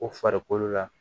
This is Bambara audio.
O farikolo la